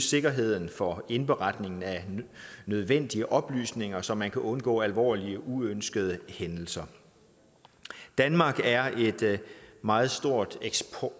sikkerheden for indberetningen af nødvendige oplysninger så man kan undgå alvorlige uønskede hændelser danmark er et meget stort